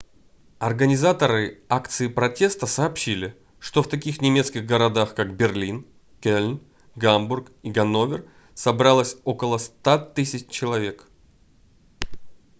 организаторы акции протеста сообщили что в таких немецких городах как берлин кельн гамбург и ганновер собралось около 100 000 человек